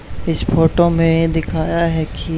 इस फोटो में दिखाया है कि--